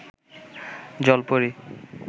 জলপরী